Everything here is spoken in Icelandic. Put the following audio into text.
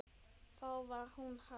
Þá var hún hrærð.